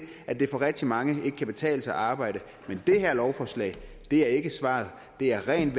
at det for rigtig mange ikke kan betale sig at arbejde men det her lovforslag er ikke svaret det er rent